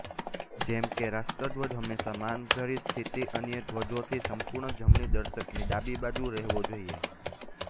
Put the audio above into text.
જેમકે રાષ્ટ્રધ્વજ હંમેશા માન ભરી શ્થિતીમાંઅન્ય ધ્વજોથી સંપૂર્ણ જમણી દર્શકનીં ડાબીબાજુ રહેવો જોઇએ